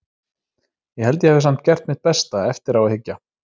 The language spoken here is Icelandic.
Ég held að ég hafi samt gert mitt besta, eftir á að hyggja.